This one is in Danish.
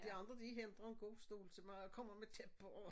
De andre de henter en god stol til mig og kommer med tæppe og